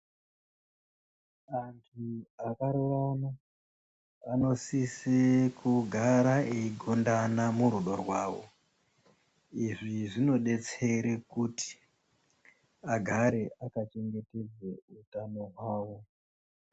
Antu akarorana anosise kugara eigondana murudo rwawo. Izvi zvinodetsere kuti agare akachengetedze utano hwavo.